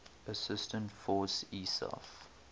assistance force isaf